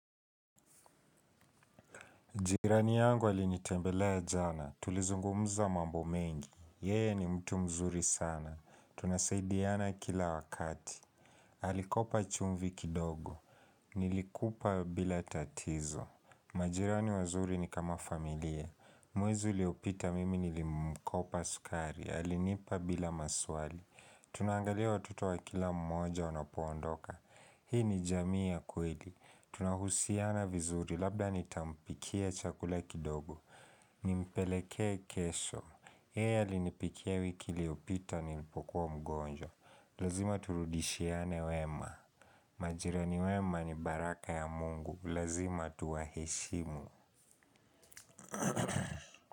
Jirani yangu alinitembelea jana, tulizungumza mambo mengi, yeye ni mtu mzuri sana. Tunasaidiana kila wakati, alikopa chumvi kidogo, nilikupa bila tatizo. Majirani wazuri ni kama familia, mwezi uliopita mimi nilimkopa sukari, alinipa bila maswali. Tuna angalia watoto wa kila mmoja wanapo ondoka, hii ni jamii ya kweli. Tunahusiana vizuri labda nitampikia chakula kidogo. Nimpeleke kesho yeye alinipikia wiki iliopita nilipokuwa mgonjwa. Lazima turudishiane wema. Majirani wema ni baraka ya mungu. Lazima tuwa heshimu.